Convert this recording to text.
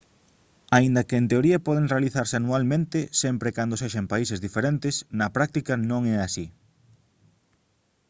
aínda que en teoría poden realizarse anualmente sempre e cando sexa en países diferentes na práctica non é así